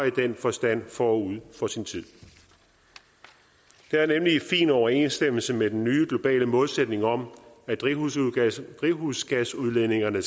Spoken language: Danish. i den forstand forud for sin tid det er nemlig i fin overensstemmelse med den nye globale målsætning om at drivhusgasudledningerne